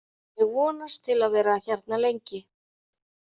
Ég vonast til að vera hérna lengi.